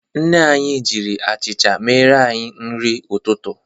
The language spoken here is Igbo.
Nne anyị jiri achịcha mere anyị nri ụtụtụ.